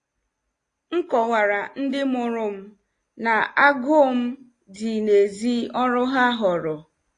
M kọwara ndị mụrụ m na agụụ m dị n'èzí ọrụ ha họọrọ.